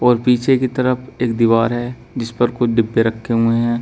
और पीछे की तरफ एक दीवार है जिस पर कुछ डिब्बे रखे हुए हैं।